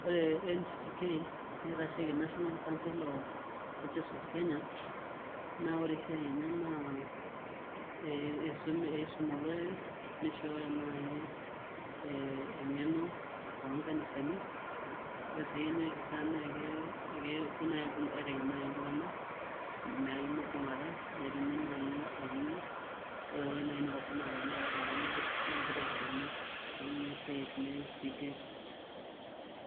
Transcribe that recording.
Ore ncck nitashieki national council of churches of kenya naore esiaia enye na eisum olorere nishooyo nai engeno tonkanisani ore esiai enye na kepuo aitengen ltunganak mibungata netumi nai engeno oreentoki nai naata ltunganak na kitobir orningo neaku ninche siatin e ncck.